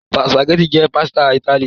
Spaghetti jẹ pasita Itali.